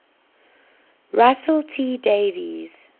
russell t davies